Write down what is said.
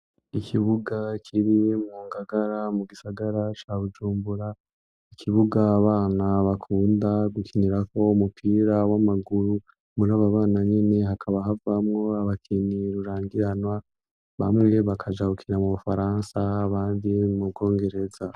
Ikibuga kibi mu ngagara mu gisagara ca Bujumbura n'ikibuga abana bakunda gukinira ko umupira w'amaguru muri ababana nyine hakaba havamo abakini rurangiranwa bamwe bakajahukira mu bufaransa bandi mu bwongereza.